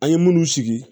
An ye munnu sigi